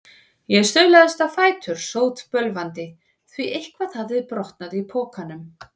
Ég staulaðist á fætur, sótbölvandi, því eitthvað hafði brotnað í pokunum.